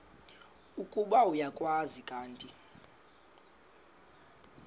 ukuba uyakwazi kanti